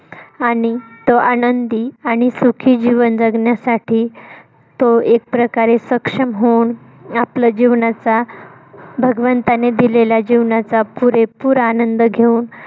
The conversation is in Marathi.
आणि तो आनंदी आणि सुखी जीवन जगण्यासाठी तो एक प्रकारे सक्षम होऊन. आपल्या जीवनाचा भगवंताने दिलेल्या जीवनाचा पुरेपूर आनंद घेऊन.